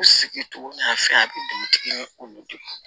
U sigi togo n'a fɛn a bɛ dugutigi ɲɛ olu de